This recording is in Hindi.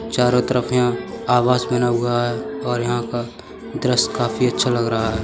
चारो तरफ यहाँ आवास बना हुआ है और यहाँ का दृश्य काफी अच्छा लग रहा है।